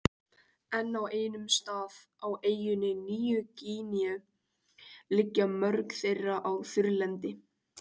En á einum stað, á eyjunni Nýju-Gíneu liggja mörk þeirra á þurrlendi.